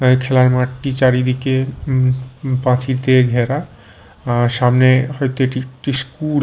এই খেলার মাঠটি চারিদিকে উম উম প্রাচীর দিয়ে ঘেরা আর সামনে হয়তো এটি একটি স্কুল ।